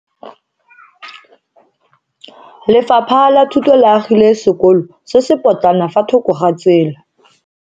Lefapha la Thuto le agile sekolo se se potlana fa thoko ga tsela.